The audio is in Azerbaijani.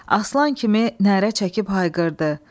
Aslan kimi nərə çəkib hayqırdı.